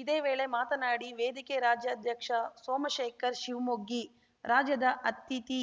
ಇದೇ ವೇಳೆ ಮಾತನಾಡಿ ವೇದಿಕೆ ರಾಜ್ಯಾಧ್ಯಕ್ಷ ಸೋಮಶೇಖರ್ ಶಿವಮೊಗ್ಗಿ ರಾಜ್ಯದ ಅತಿಥಿ